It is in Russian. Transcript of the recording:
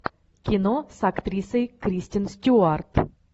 кино с актрисой кристен стюарт